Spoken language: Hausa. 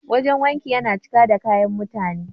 Wajen wankin ya cika da kayan mutane.